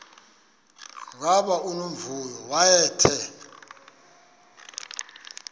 gama unomvuyo wayethe